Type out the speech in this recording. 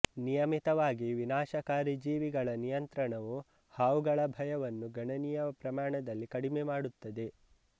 ನಿಯಮಿತವಾದ ವಿನಾಶಕಾರಿ ಜೀವಿಗಳ ನಿಯಂತ್ರಣವು ಹಾವುಗಳ ಭಯವನ್ನು ಗಣನೀಯ ಪ್ರಮಾಣದಲ್ಲಿ ಕಡಿಮೆ ಮಾಡುತ್ತದೆ